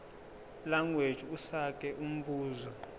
language usage umbuzo